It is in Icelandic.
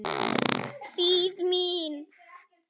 Þýð. mín.